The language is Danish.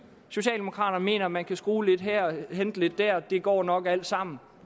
socialdemokraterne mener at man kan skrue lidt her og hente lidt der og det går nok alt sammen